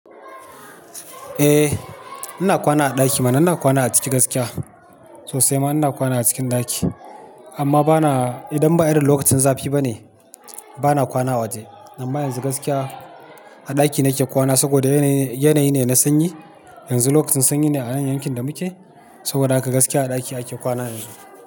Eh, ina kwana a ɗaki mana. Ina kwana a ciki gaskiya sosai ma ina kwana a cikin ɗaki. Amma bana idon ba irin lokacin zafi ba ne bana kwana a waje. Amma yanzu gaskiya a ɗaki nake kwana saboda yanayi ne na sanyi. Yanzu lokacin sanyi ne a nan yankin da muke saboda haka gaskiya a ɗaki ake kwana yanzu.